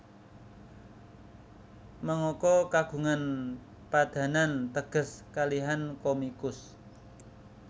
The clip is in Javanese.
Mangaka kagungan padanan teges kalihan komikus